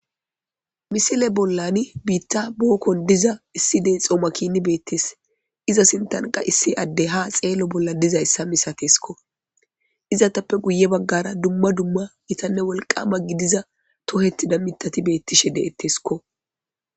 misile bollani biitta bulokkon diza issi dee xoomakini beettesl iza sintanqa issi addey ha xeello bolla dizayssa misateskko izatappe guye baggara dumma dumma itanne wolqama gidiza tohettida mitati beettishe de7ettesiko